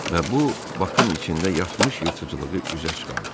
Və bu Bakın içində yatmış yırtıcılığı üzə çıxardı.